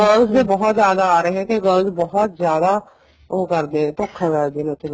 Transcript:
France ਦੇ ਬਹੁਤ ਜਿਆਦਾ ਆ ਰਹੇ ਹੈ ਕੀ girls ਬਹੁਤ ਜਿਆਦਾ ਉਹ ਕਰਦੀਆਂ ਨੇ ਧੋਖਾ ਕਰਦੀਆਂ ਨੇ ਉੱਥੇ